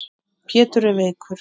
Pétur er veikur.